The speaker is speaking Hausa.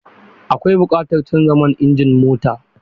Akwai buƙatar canza man injin mota.